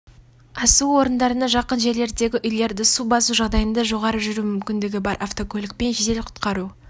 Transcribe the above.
асуы орындарына жақын жерлердегі үйлерді су басу жағдайында жоғары жүру мүмкіндіг бар автокөлік пен жедел-құтқару